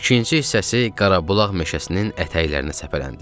İkinci hissəsi Qarabulax meşəsinin ətəklərinə səpələndi.